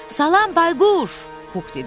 Salam Bayquş, Pux dedi.